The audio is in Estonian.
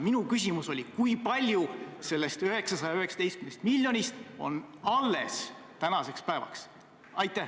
Minu küsimus oli, kui palju sellest 919 miljonist on tänaseks päevaks alles.